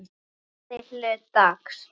Fyrri hluta dags sagði ég.